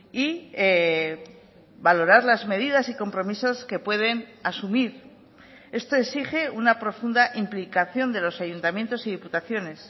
y valorar las medidas y compromisos que pueden asumir esto exige una profunda implicación de los ayuntamientos y diputaciones